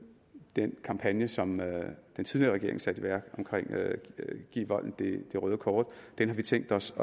den kampagne som den tidligere regering satte i værk omkring at give volden det røde kort den har vi tænkt os